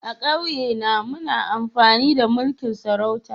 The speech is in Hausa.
A'kauye na muna amfani da mulki'n sarauta.